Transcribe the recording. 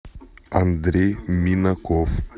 андрей минаков